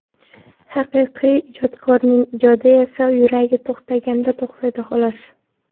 Haqiqiy ijodkorning ijodi esa yuragi to‘xtaganda to‘xtaydi, xolos.